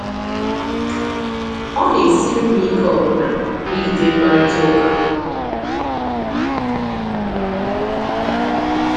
Ọ na-esiri m ike ọbụna ijide mkparịta ụka.”